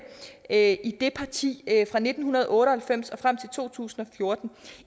af det parti fra nitten otte og halvfems og frem til to tusind og fjorten